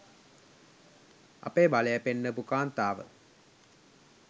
අපේ බලය පෙන්නපු කාන්තාව